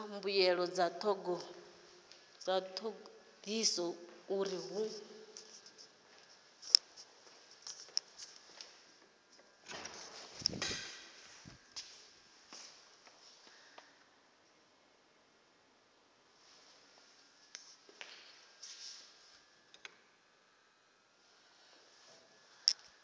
mbuelo dza thodisiso uri hu